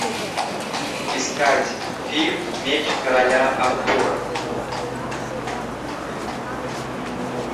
искать фильм меч короля артура